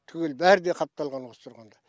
түгел бәрі де қапталған осы тұрғанда